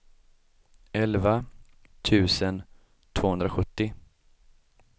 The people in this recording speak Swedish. elva tusen tvåhundrasjuttio